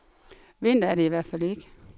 Vinter er det i hvert fald ikke.